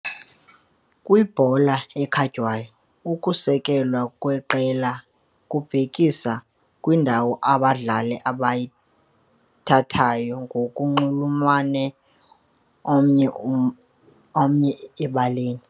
Kwibhola ekhatywayo, ukusekwa kweqela kubhekisa kwindawo abadlali abayithathayo ngokunxulumene omnye ebaleni.